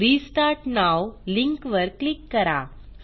restart now link वर click करा